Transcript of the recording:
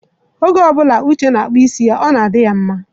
Oge ọ bụla Uche na-akpụ isi ya, ọ na-adị ya mma.